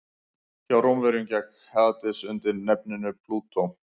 hjá rómverjum gekk hades undir nafninu plútó